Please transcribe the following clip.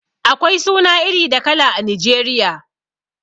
Akwai suna iri da kala a Nijeriya